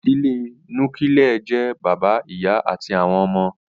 Ìdílé Núkílẹ̀ jẹ́ bàbá, ìyá àti àwọn ọmọ